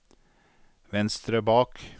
venstre bak